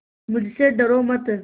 मुझसे डरो मत